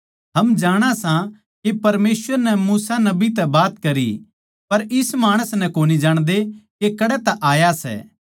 हम जाणा सां के परमेसवर नै मूसा नबी तै बात करी पर इस माणस नै कोनी जाणदे के कड़ै तै आया सै